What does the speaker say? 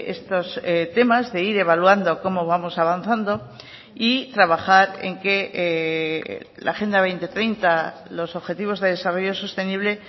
estos temas de ir evaluando cómo vamos avanzando y trabajar en que la agenda dos mil treinta los objetivos de desarrollo sostenible